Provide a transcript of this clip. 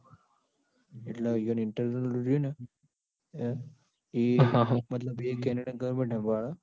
એટલ internal રયુ ન હ એ મતલબ એ કેનેડા ન goverment હંભાળે.